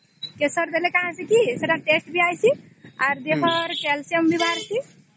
କେଶର ଦେଲେ କଣ ହବ କି ସେଟା ଟ୍ୱସ୍ତେ ବି ଆସିଛି ଆଉ ଦେହ ର calcium ବି ବାହରିସିଂ